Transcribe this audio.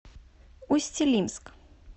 усть илимск